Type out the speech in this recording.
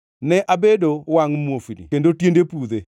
Ne abedo wangʼ muofni kendo tiende pudhe.